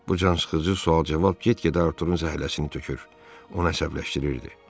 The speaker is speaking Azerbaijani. Bu cansıxıcı sual-cavab get-gedə Arturın zəhləsini tökür, onu əsəbləşdirirdi.